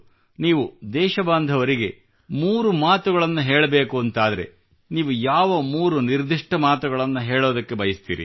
ನೀವು ದೇಶಬಾಂಧವರಿಗೆ 3 ಮಾತುಗಳನ್ನು ಹೇಳಬೇಕೆಂದಾದಲ್ಲಿ ನೀವು ಯಾವ 3 ನಿರ್ದಿಷ್ಟ ಮಾತುಗಳನ್ನು ಹೇಳಬಯಸುತ್ತೀರಿ